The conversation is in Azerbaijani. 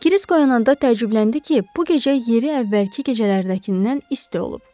Krisk oyananda təəccübləndi ki, bu gecə yeri əvvəlki gecələrdəkindən isti olub.